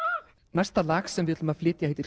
næsta lag sem við ætlum að flytja heitir